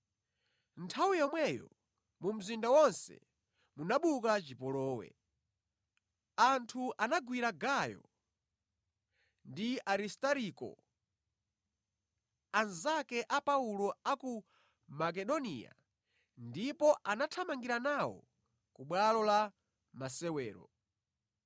Nthawi yomweyo mu mzinda wonse munabuka chipolowe. Anthu anagwira Gayo ndi Aristariko, anzake a Paulo a ku Makedoniya, ndipo anathamangira nawo ku bwalo la masewero.